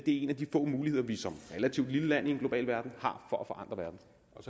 en af de få muligheder vi som relativt lille land i en global verden har for at forandre verden